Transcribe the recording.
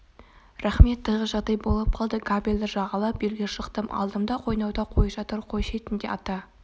рақмет тығыз жағдай болып қалды кабельді жағалап белге шықтым алдымда қойнауда қой жатыр қой шетінде ата